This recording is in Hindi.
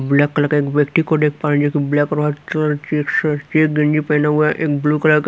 ब्लैक कलर का एक व्यक्ति को देख पाएंगे कि ब्लैक और व्हाइट चेक शर्ट चेक गंजी पहना हुआ है एक ब्लू कलर का--